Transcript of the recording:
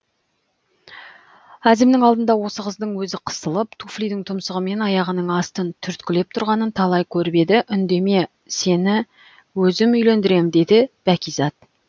әзімнің алдында осы қыздың өзі қысылып туфлидің тұмсығымен аяғының астын түрткілеп тұрғанын талай көріп еді үндеме сені өзім үйлендірем деді бәкизат